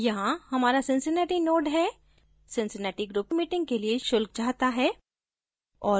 यहाँ हमारा cincinnati node है cincinnati group meetings के लिए शुल्क चाहता है